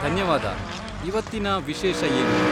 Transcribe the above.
ಧನ್ಯವಾದ. ಇವತ್ತಿನ ವಿಶೇಷ ಏನು?